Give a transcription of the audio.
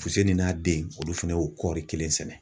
Fusinin n'a denw olu fana y'o kɔɔri kelen sɛnɛ.